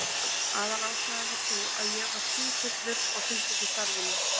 Aðalástæðan var sú að ég var sífullur og sinnti ekki starfinu.